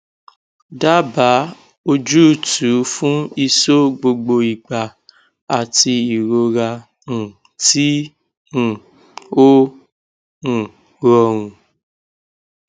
daba oojutu fún iso gbogbo igba ati irora um ti um o um rorun